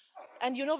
And you